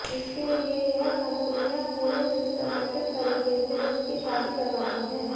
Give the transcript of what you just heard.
इसके लिए यह कंपनियां पूरे सिस्टमैटिक तरीके से उनकी शादी करवाती हैं